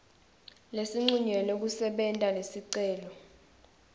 lesincunyelwe kusebenta lesicelo